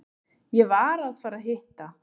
Ég var að fara að hitta